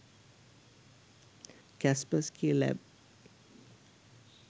kaspersky lab